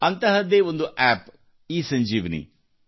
ಅಂತಹದ್ದೇ ಒಂದು ಆಪ್ ಈಸಂಜೀವನಿ